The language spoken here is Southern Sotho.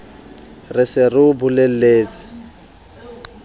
re se re o bolelletse